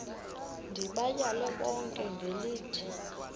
ndibayale bonke ngelithi